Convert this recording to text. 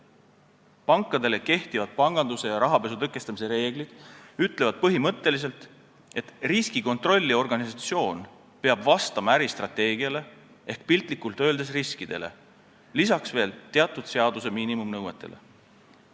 Pankade kohta kehtivad panganduse ja rahapesu tõkestamise reeglid ütlevad põhimõtteliselt, et riskikontrolli organisatsioon peab vastama äristrateegiale ehk piltlikult öeldes riskidele, lisaks veel teatud seaduse miinimumnõuetele.